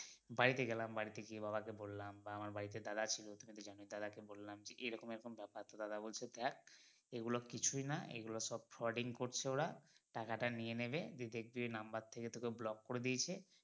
বাড়িতে গেলাম বাড়িতে গিয়ে বাবা কে বললাম আমার বাড়িতে দাদা ছিলো তো দাদা কে বললাম যে এইরকম এইরকম ব্যাপার তো দাদা বলছে দেখ এইগুলো কিছুই না এইগুলো সব frauding করছে ওরা দিয়ে টাকা টা নিয়ে নেবে দিয়ে number থেকে তোকে block করে দিয়েছে